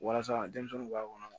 Walasa denmisɛnninw b'a kɔnɔ